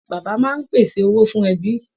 Bàbá máa ń pèsè owó fún ẹbí.